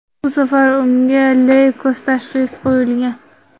Bu safar unga leykoz tashxisi qo‘yilgan.